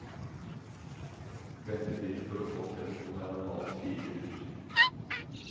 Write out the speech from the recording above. Ventetiden for å få telefon er normalt fire uker.